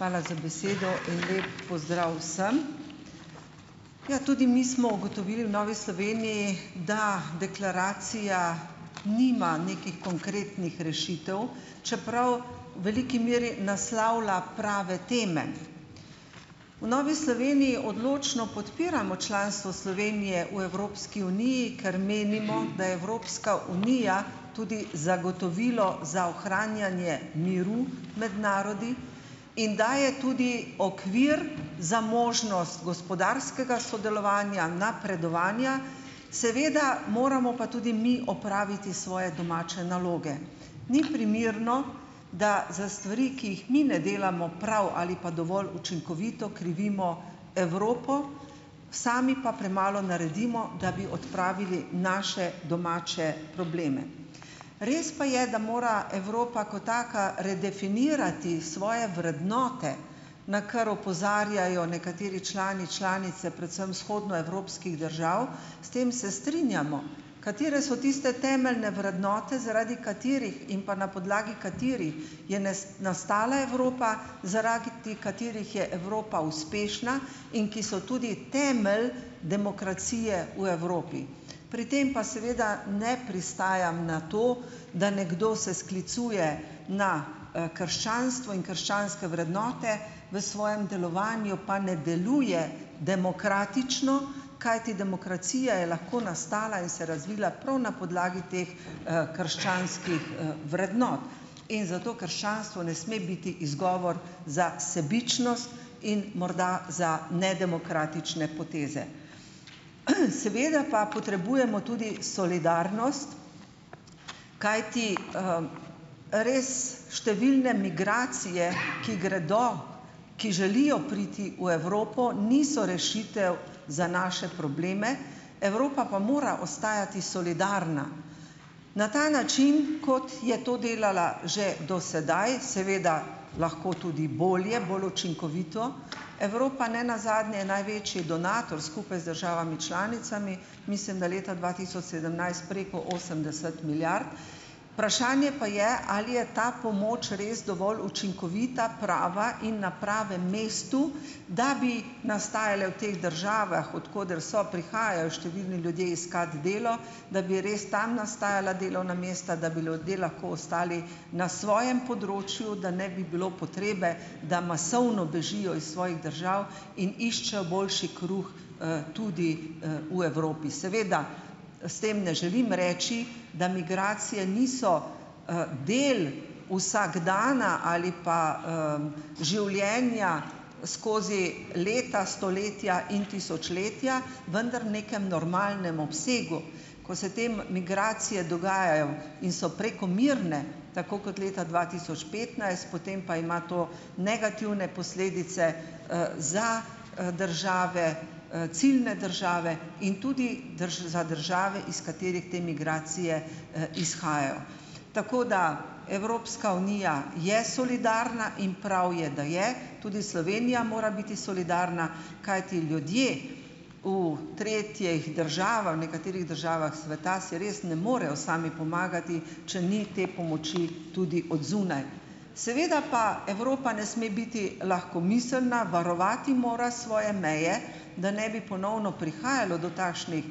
Hvala za besedo. Lep pozdrav vsem! Ja, tudi mi smo ugotovili v Novi Sloveniji, da deklaracija nima nekih konkretnih rešitev, čeprav v veliki meri naslavlja prave teme. V Novi Sloveniji odločno podpiramo članstvo Slovenije v Evropski uniji, ker menimo , da je Evropska unija tudi zagotovilo za ohranjanje miru med narodi in daje tudi okvir za možnost gospodarskega sodelovanja, napredovanja, seveda moramo pa tudi mi opraviti svoje domače naloge. Ni primerno, da za stvari, ki jih mi ne delamo prav ali pa dovolj učinkovito, krivimo Evropo, sami pa premalo naredimo, da bi odpravili naše domače probleme. Res pa je, da mora Evropa ko taka redefinirati svoje vrednote, na kar opozarjajo nekateri člani, članice predvsem vzhodnoevropskih držav, s tem se strinjamo, katere so tiste temeljne vrednote, zaradi katerih in pa na podlagi katerih je nastala Evropa, zaradi katerih je Evropa uspešna in ki so tudi temelj demokracije v Evropi. Pri tem pa seveda ne pristajam na to, da nekdo se sklicuje na, krščanstvo in krščanske vrednote, v svojem delovanju pa ne deluje demokratično, kajti demokracija je lahko nastala in se razvila prav na podlagi teh, krščanskih, vrednot. In zato krščanstvo ne sme biti izgovor za sebičnost in morda za nedemokratične poteze. Seveda pa potrebujemo tudi solidarnost, kajti, ress številne migracije, ki gredo, ki želijo priti v Evropo, niso rešitev za naše probleme, Evropa pa mora ostajati solidarna, na ta način, kot je to delala že do sedaj, seveda lahko tudi bolje, bolj učinkovito, Evropa nenazadnje največji donator skupaj z državami članicami, mislim, da leta dva tisoč sedemnajst preko osemdeset milijard, pa je, ali je ta pomoč res dovolj učinkovita, prava in na pravem mestu, da bi nastajale v teh državah, od koder so, prihajajo številni ljudje iskat delo, da bi res tam nastajala delovna mesta, da bi ljudje lahko ostali na svojem področju, da ne bi bilo potrebe, da masovno bežijo iz svojih držav in iščejo boljši kruh, tudi, v Evropi. Seveda s tem ne želim reči, da migracije niso, del vsakdana ali pa, življenja skozi leta, stoletja in tisočletja, vendar v nekem normalnem obsegu, ko se te migracije dogajajo in so prekomerne, tako kot leta dva tisoč petnajst, potem pa ima to negativne posledice, za, države, ciljne države in tudi za države, iz katerih te migracije, izhajajo. Tako da Evropska unija je solidarna in prav je, da je, tudi Slovenija mora biti solidarna, kajti ljudje v tretjih državah, v nekaterih državah sveta si res ne morejo sami pomagati, če ni te pomoči tudi od zunaj. Seveda pa Evropa ne sme biti lahkomiselna, varovati mora svoje meje, da ne bi ponovno prihajalo do takšnih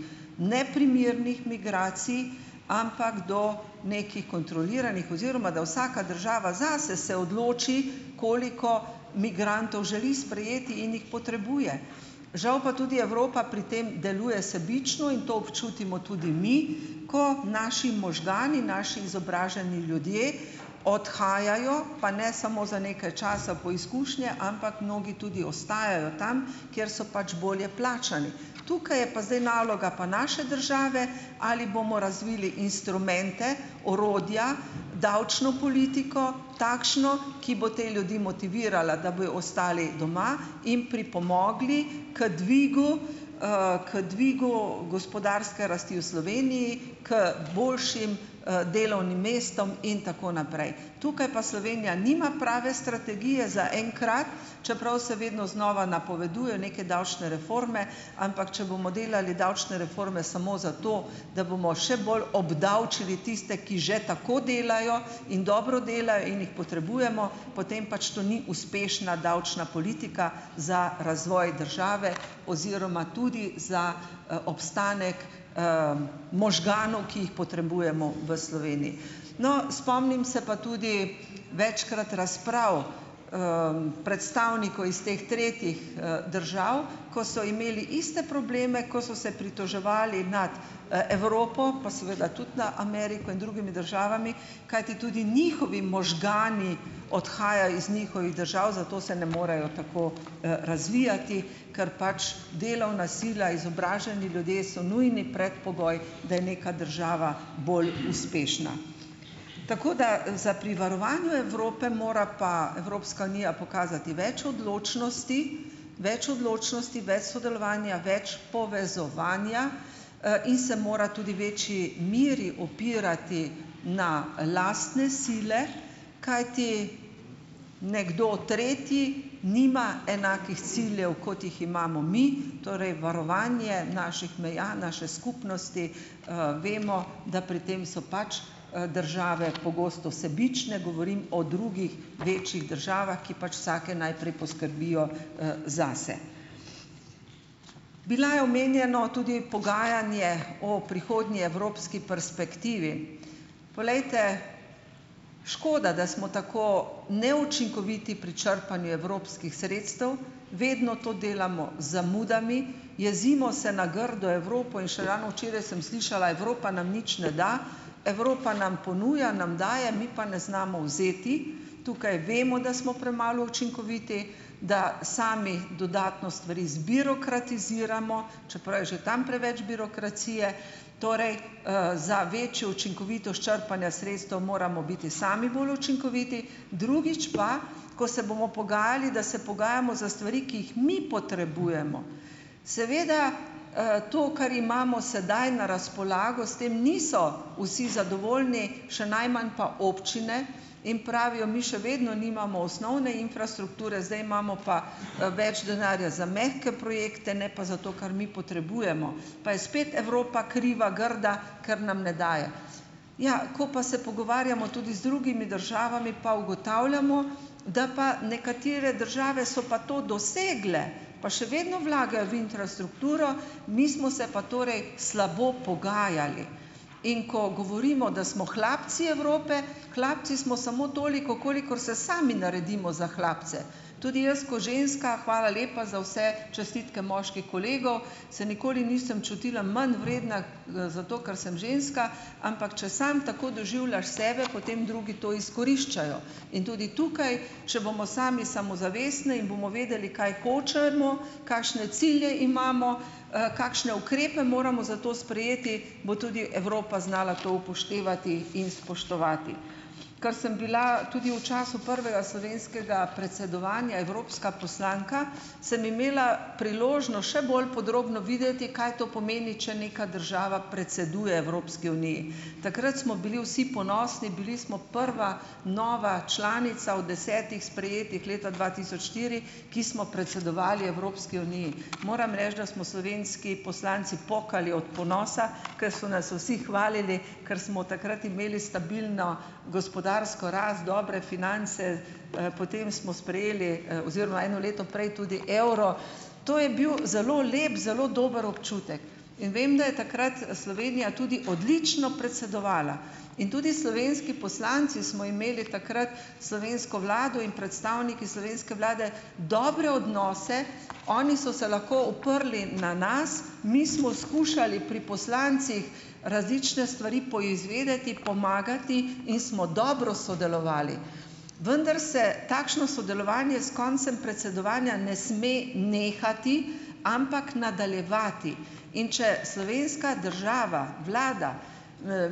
neprimernih migracij, ampak do nekih kontroliranih, oziroma da vsaka država zase se odloči, koliko migrantov želi sprejeti in jih potrebuje. Žal pa tudi Evropa pri tem deluje sebično in to občutimo tudi mi, ko naši možgani, naši izobraženi ljudje odhajajo, pa ne samo za nekaj časa, po izkušnje, ampak mnogi tudi ostajajo tam, kjer so pač bolje plačani. Tukaj je pa zdaj naloga pa naše države, ali bomo razvili instrumente, orodja, davčno politiko takšno, ki bo te ljudi motivirala, da bojo ostali doma in pripomogli k dvigu, k dvigu gospodarske rasti v Sloveniji, k boljšim, delovnim mestom in tako naprej. Tukaj pa Slovenija nima prave strategije zaenkrat, čeprav se vedno znova napoveduje neke davčne reforme, ampak če bomo delali davčne reforme samo zato, da bomo še bolj obdavčili tiste, ki že tako delajo in dobro delajo in jih potrebujemo, potem pač to ni uspešna davčna politika za razvoj države oziroma tudi za, obstanek, možganov, ki jih potrebujemo v Sloveniji. No, spomnim se pa tudi, večkrat, razprav, predstavnikov iz teh tretjih, držav, ko so imeli iste probleme, ko so se pritoževali nad, Evropo, pa seveda tudi na Ameriko in drugimi državami, kajti tudi njihovi možgani odhajajo iz njihovih držav, zato se ne morejo tako, razvijati, ker pač delovna sila, izobraženi ljudje so nujni predpogoj, da je neka država bolj uspešna . Tako da, za pri varovanju Evrope mora pa Evropska unija pokazati več odločnosti, več odločnosti, več sodelovanja, več povezovanja, in se mora tudi večji meri opirati na lastne sile, kajti nekdo tretji nima enakih ciljev, kot jih imamo mi, torej varovanje naših meja, naše skupnosti, vemo, da pri tem so pač, države pogosto sebične. Govorim o drugih večjih državah, ki pač vsake najprej poskrbijo, zase. Bilo je omenjeno tudi pogajanje o prihodni evropski perspektivi. Poglejte, škoda, da smo tako neučinkoviti pri črpanju evropskih sredstev. Vedno to delamo z zamudami, jezimo se na grdo Evropo in še ravno včeraj sem slišala, Evropa nam nič ne da. Evropa nam ponuja, nam daje, mi pa ne znamo vzeti. Tukaj vemo, da smo premalo učinkoviti, da sami dodatno stvari zbirokratiziramo, čeprav je že tam preveč birokracije. Torej, za večjo učinkovitost črpanja sredstev moramo biti sami bolj učinkoviti, drugič pa, ko se bomo pogajali, da se pogajamo za stvari, ki jih mi potrebujemo. Seveda, to, kar imamo sedaj na razpolago, s tem niso vsi zadovoljni, še najmanj pa občine, in pravijo, mi še vedno nimamo osnovne infrastrukture, zdaj imamo pa, več denarja za mehke projekte, ne pa za to, kar mi potrebujemo, pa je spet Evropa kriva, grda, ker nam ne daje. Ja, ko pa se pogovarjamo tudi z drugimi državami, pa ugotavljamo, da pa nekatere države so pa to dosegle, pa še vedno vlagajo v infrastrukturo, mi smo se pa torej slabo pogajali. In ko govorimo, da smo hlapci Evrope, hlapci smo samo toliko, kolikor se sami naredimo za hlapce. Tudi jaz, ženska, hvala lepa za vse čestitke kolegov, se nikoli nisem čutila manj vredna, zato ker sem ženska, ampak če samo tako doživljaš sebe, potem drugi to izkoriščajo in tudi tukaj, če bomo sami samozavestni in bomo vedeli, kaj hočemo, kakšne cilje imamo, kakšne ukrepe moramo za to sprejeti, bo tudi Evropa znala to upoštevati in spoštovati. Kar sem bila tudi v času prvega slovenskega predsedovanja evropska poslanka, sem imela še bolj podrobno videti, kaj to pomeni, če neka država predseduje Evropski uniji. Takrat smo bili vsi ponosni, bili smo prva nova članica od desetih sprejetih leta dva tisoč štiri, ki smo predsedovali Evropski uniji. Moram reči, da smo slovenski poslanci pokali od ponosa, ki so nas vsi hvalili, ker smo takrat imeli stabilno gospodarsko rast, dobre finance, potem smo sprejeli, oziroma eno leto prej tudi evro, to je bil zelo lep, zelo dober občutek. In vem, da je takrat Slovenija tudi odlično predsedovala in tudi slovenski poslanci smo imeli takrat slovensko vlado in predstavniki slovenske vlade dobre odnose, oni so se lahko odprli na nas. Mi smo skušali pri poslancih različne stvari poizvedeti, pomagati in smo dobro sodelovali, vendar se takšno sodelovanje s koncem predsedovanja ne sme nehati, ampak nadaljevati, in če slovenska država, vlada,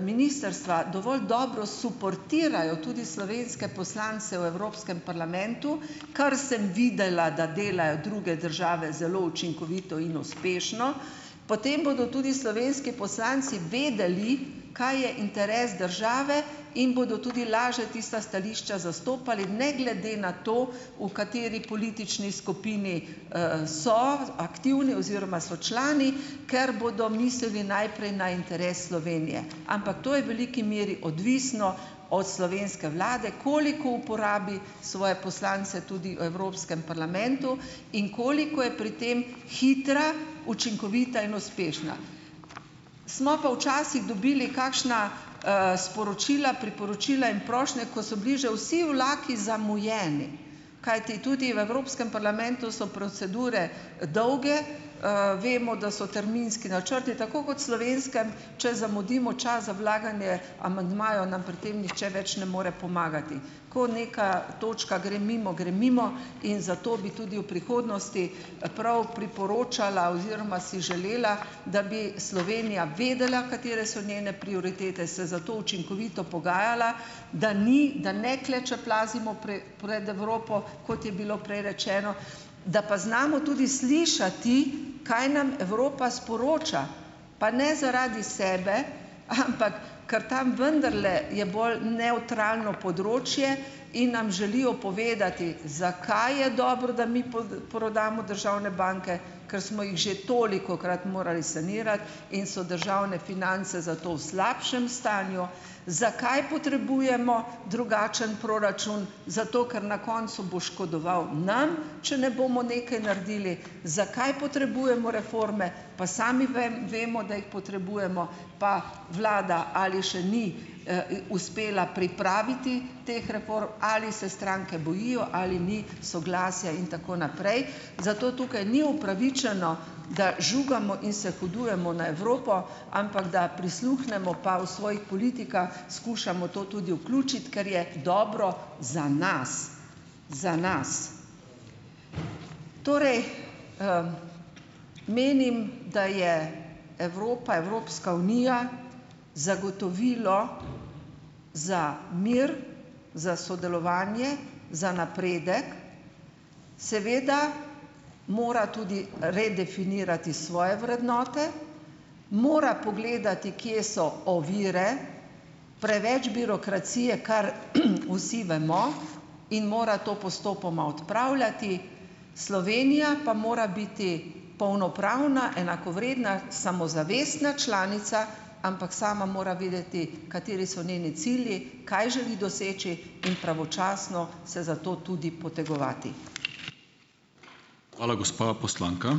ministrstva, dovolj dobro suportirajo tudi slovenske poslance v evropskem parlamentu, kar sem videla, da delajo druge države zelo učinkovito in uspešno, potem bodo tudi slovenski poslanci vedeli, kaj je interes države, in bodo tudi lažje tista stališča zastopali ne glede na to, v kateri politični skupini, so aktivni oziroma so člani, ker bodo mislili najprej na interes Slovenije, ampak to je veliki meri odvisno od slovenske vlade, koliko uporabi svoje poslance tudi evropskem parlamentu in koliko je pri tem hitra, učinkovita in uspešna. Smo pa včasih dobili kakšna, sporočila, priporočila in prošnje, ko so bili že vsi vlaki zamujeni, kajti tudi v evropskem parlamentu so procedure dolge, vemo, da so terminski načrti, tako kot slovenskem, če zamudimo čas za vlaganje amandmajev, nam pri tem nihče več ne more pomagati. Ko neka točka gre mimo, gre mimo in zato bi tudi v prihodnosti, prav priporočala oziroma si želela, da bi Slovenija vedela, katere so njene prioritete, se zato učinkovito pogajala, da ni, da ne klečeplazimo pred Evropo, kot je bilo prej rečeno, da pa znamo tudi slišati, kaj nam Evropa sporoča, pa ne zaradi sebe, ampak, ker tam vendarle je bolj nevtralno področje in nam želijo povedati, zakaj je dobro, da mi prodamo državne banke, kar smo jih že tolikokrat morali sanirati in so državne finance zato v slabšem stanju, zakaj potrebujemo drugačen proračun, zato ker na koncu bo škodoval nam, če ne bomo nekaj naredili. Zakaj potrebujemo reforme, pa sami vemo, da jih potrebujemo, pa vlada ali še ni, uspela pripraviti teh ali se stranke bojijo, ali ni soglasja in tako naprej. Zato tukaj ni upravičeno, da žugamo in se hudujemo na Evropo, ampak da prisluhnemo, pa v svojih politikah skušamo to tudi vključiti, ker je dobro za nas, za nas. Torej, menim, da je Evropa, Evropska unija zagotovilo za mir, za sodelovanje, za napredek, seveda mora tudi redefinirati svoje vrednote, mora pogledati, kje so ovire, preveč birokracije, kar, vsi vemo, in mora to postopoma odpravljati. Slovenija pa mora biti polnopravna, enakovredna, samozavestna članica, ampak sama mora vedeti, kateri so njeni cilji, kaj želi doseči, in pravočasno se za to tudi potegovati. Hvala, gospa poslanka.